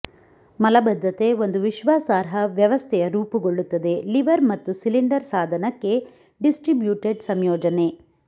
ಮಲಬದ್ಧತೆ ಒಂದು ವಿಶ್ವಾಸಾರ್ಹ ವ್ಯವಸ್ಥೆಯ ರೂಪುಗೊಳ್ಳುತ್ತದೆ ಲಿವರ್ ಮತ್ತು ಸಿಲಿಂಡರ್ ಸಾಧನಕ್ಕೆ ಡಿಸ್ಟ್ರಿಬ್ಯುಟೆಡ್ ಸಂಯೋಜನೆ